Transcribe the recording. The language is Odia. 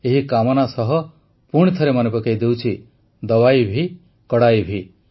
ଏହି କାମନା ସହ ପୁଣିଥରେ ମନେ ପକାଇ ଦେଉଛି ଦବାଇ ଭି କଡ଼ାଇ ଭି